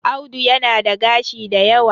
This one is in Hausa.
Audu yana da gashi da yawa